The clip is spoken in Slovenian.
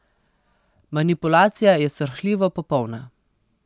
Manipulacija je srhljivo popolna.